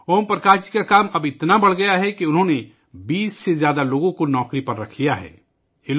اوم پرکاش جی کا کام اتنا بڑھ گیا ہے کہ انہوں نے 20 سے زیادہ لوگوں کو ملازمت پر رکھا ہے